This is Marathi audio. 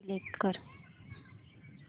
सिलेक्ट कर